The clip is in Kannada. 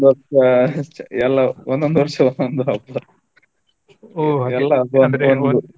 ಒಂದ್ ವರ್ಷ ಅಷ್ಟೆ ಎಲ್ಲ ಒಂದೊಂದ ವರ್ಷ ಒಂದೊಂದು ಹಬ್ಬ